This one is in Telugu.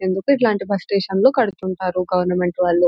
ఇందుకో ఇట్లాంటి బస్ స్టేషన్లు కడుతుంటారు గవర్నమెంట్ వాళ్ళు.